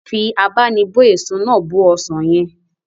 Fi abá'nibó èso náà bó ọsàn yẹn